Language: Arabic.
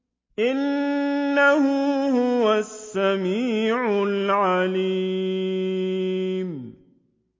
إِنَّهُ هُوَ السَّمِيعُ الْعَلِيمُ